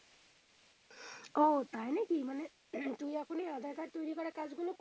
ও তাই নাকি মানে তুমি এখন আধার কার্ড তৈরি করার কাজ গুলোয়,